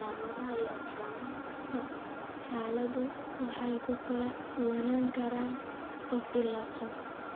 Calaamadaha iyo astaamaha xaaladdu way ku kala duwanaan karaan qof ilaa qof.